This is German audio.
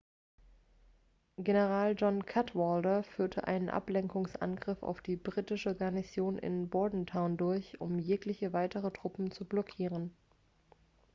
general john cadwalder führte einen ablenkungsangriff auf die britische garnison in bordentown durch um jegliche weitere truppen zu blockieren